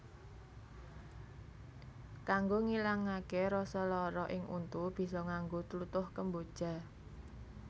Kanggo ngilangaké rasa lara ing untu bisa nganggo tlutuh kemboja